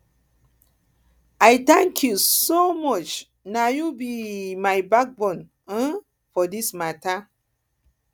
i thank you so so much na you be um my backbone um for this mata um